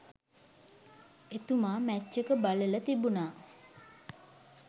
එතුමා මැච් එක බලල තිබුණා